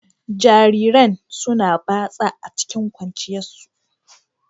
Jarirain suna batsa a cikin kwanciyan su.